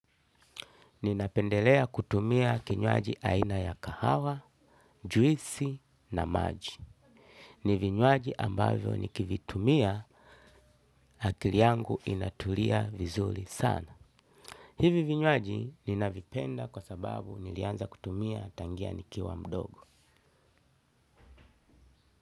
Ninapendelea kutumia kinywaji aina ya kahawa, juisi na maji. Ni vinywaji ambavyo nikivitumia akili yangu inatulia vizuri sana. Hivi vinywaji ninavipenda kwa sababu nilianza kutumia tangia nikiwa mdogo.